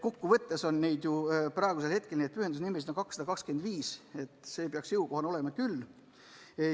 Kokkuvõttes on praegu pühendusnimesid 225, nende ülevaatamine peaks olema jõukohane küll.